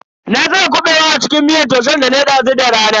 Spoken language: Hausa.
Na saka Kabewa a cikin miyar taushen danayi dazu da rana.